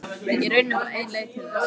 Í rauninni er bara ein leið til þess.